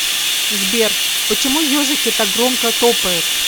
сбер почему ежики так громко топают